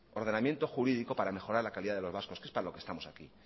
ordenamiento jurídico para mejorar la calidad de los vascos que es para lo que estamos aquí